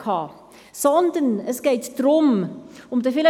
– Non, er wünscht das Wort nicht.